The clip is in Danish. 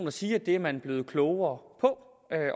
at sige at det er man blevet klogere på